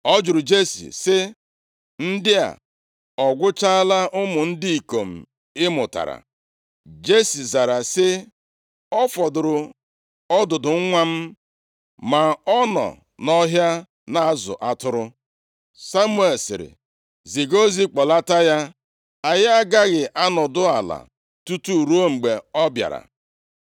Ọ jụrụ Jesi sị, “Ndị a ọ gwụchaala ụmụ ndị ikom ị mụtara?” Jesi zara sị “O fọdụrụ ọdụdụ nwa m, ma ọ nọ nʼọhịa na-azụ atụrụ.” Samuel sịrị, “Ziga ozi kpọlata ya, anyị agaghị anọdụ ala tutu ruo mgbe ọ bịara.”